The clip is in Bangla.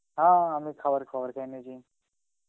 হা আমি খাবার খাবার খেয়ে নিয়েছি.